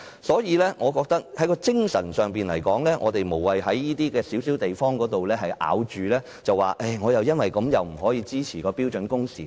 所以，我覺得在精神層面來說，我們無謂在這個小問題上執着，因而不支持訂定標準工時。